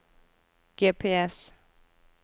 GPS